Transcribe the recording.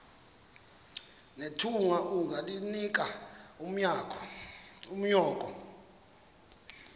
nethunga ungalinik unyoko